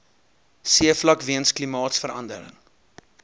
seevlak weens klimaatsverande